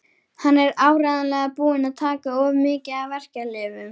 Hann er áreiðanlega búinn að taka of mikið af verkjalyfjum.